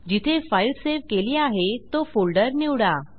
जिथे file save केली आहे तो फोल्डर निवडा